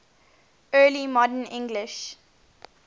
early modern english